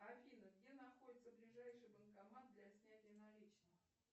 афина где находится ближайший банкомат для снятия наличных